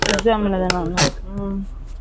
exam எழுதலாம் ஆனா ம்ம்